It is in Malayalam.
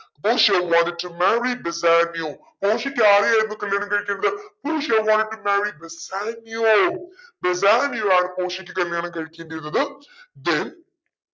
പോഷിയ wanted to marry ബെസാനിയോ പോഷിയ്ക്ക് ആരെയായിരുന്നു കല്യാണം കഴിക്കേണ്ടത് പോഷിയ wanted to marry Bassanio Bassanio ആണ് പോഷിയക്ക് കല്യാണം കഴിക്കേണ്ടിയിരുന്നത് then